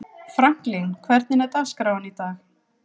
Franklin, hvernig er dagskráin í dag?